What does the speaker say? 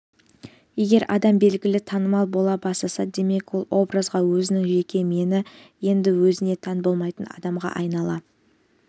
егер адам белгілі танымал бола бастаса демек ол образға өзінің жеке мені енді өзіне тән болмайтын адамға айнала